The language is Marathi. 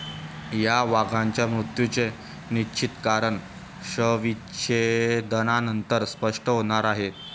या वाघाच्या मृत्यूचे निश्चित कारण शवविच्छेदनानंतर स्पष्ट होणार आहे.